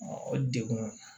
o degun